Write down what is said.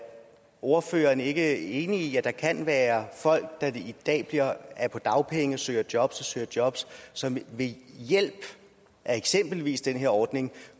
ordføreren ikke enig i at der kan være folk der i dag er på dagpenge og søger jobs og søger jobs som ved hjælp af eksempelvis den her ordning